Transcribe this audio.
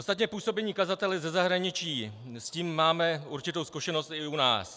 Ostatně působení kazatele ze zahraničí, s tím máme určitou zkušenost i u nás.